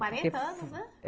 quarenta anos, né?